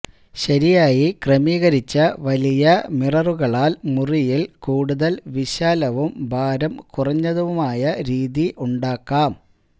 ശരിയായി ക്രമീകരിച്ച വലിയ മിററുകളാൽ മുറിയിൽ കൂടുതൽ വിശാലവും ഭാരം കുറഞ്ഞതുമായ രീതി ഉണ്ടാക്കാം